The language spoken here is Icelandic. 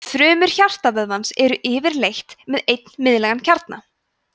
frumur hjartavöðvans eru yfirleitt með einn miðlægan kjarna